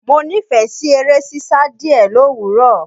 Mo nífẹ̀ẹ́ sí eré sísá díẹ̀ lówùrọ̀.